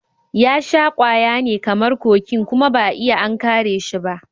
Ya sha ƙwaya ne kamar kokin kuma ba'a iya an kare shi ba.